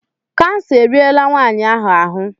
Kansa eriela nwaanyị ahụ ahụ.